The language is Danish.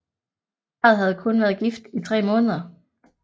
Parret havde kun været gift i 3 måneder